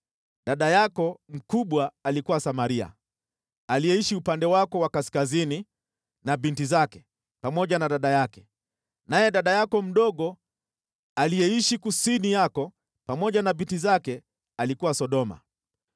Dada yako mkubwa alikuwa Samaria, aliyeishi upande wako wa kaskazini na binti zake, pamoja na dada yake, naye dada yako mdogo, aliyeishi kusini yako pamoja na binti zake, alikuwa Sodoma.